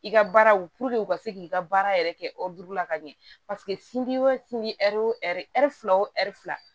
I ka baaraw u ka se k'i ka baara yɛrɛ kɛ la ka ɲɛ paseke wo ɛri fila wo fila